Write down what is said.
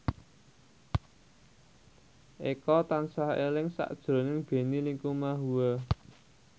Eko tansah eling sakjroning Benny Likumahua